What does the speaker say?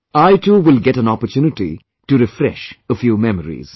I too will get an opportunity to refresh a few memories